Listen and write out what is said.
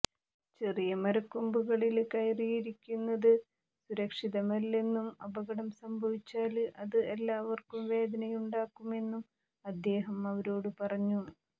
ചെറിയ മരക്കൊമ്പുകളില് കയറിയിരിക്കുന്നത് സുരക്ഷിതമല്ലെന്നും അപകടം സംഭവിച്ചാല് അത് എല്ലാവര്ക്കും വേദനയുണ്ടാക്കുമെന്നും അദ്ദേഹം അവരോടു പറഞ്ഞു